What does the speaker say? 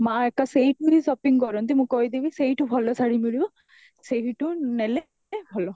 ମା ଏକା ସେଇଠୁ ହିଁ shopping କରନ୍ତି, ମୁଁ କହିଦେବି ସେଇଠୁ ଭଲ ଶାଢୀ ମିଳିବ ସେହିଠୁ ନେଲେ ଭଲ